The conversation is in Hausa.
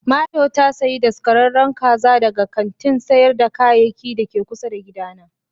Mario ta sayi daskararren kaza daga kantin sayar da kayayyaki da ke kusa da gidana.